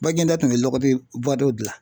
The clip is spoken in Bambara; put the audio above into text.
Baginda tun bɛ lɔgɔti bɔtiw dilan.